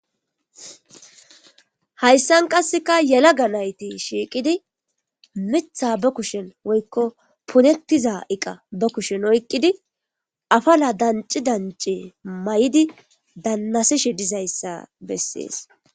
Hayssan qasseka yela ga nayti shiiqidi mitha ba kushen woykko punettiza iqa ba kushen oyqqidi afala danci danci may7idi dannasishe dizayssa bessees.